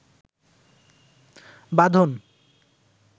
বাঁধন